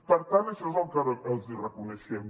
per tant això és el que els reconeixem